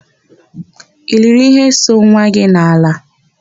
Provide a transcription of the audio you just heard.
I liri íhé so nwa gị n'ala?